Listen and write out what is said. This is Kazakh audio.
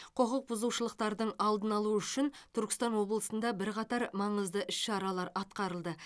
құқық бұзушылықтардың алдын алу үшін түркістан облысында бірқатар маңызды іс шаралар атқарылды